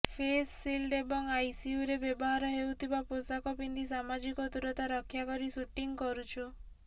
face shield ଏବଂ ଆଇସିୟୁରେ ବ୍ୟବହାର ହେଉଥିବା ପୋଷାକ ପିନ୍ଧି ସାମାଜିକ ଦୂରତା ରକ୍ଷା କରି ସୁଟିଂ କରୁଛୁ